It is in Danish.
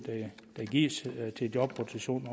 der gives til jobrotation